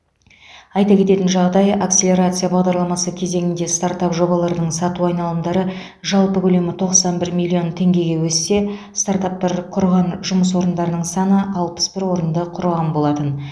айта кететін жағдай акселерация бағдарламасы кезеңінде стартап жобалардың сату айналымдары жалпы көлемі тоқсан бір миллион теңгеге өссе стартаптар құрған жұмыс орындарының саны алпыс бір орынды құраған болатын